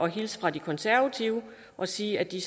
hilse fra de konservative og sige at de